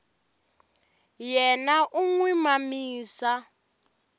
yena u n wi mamisa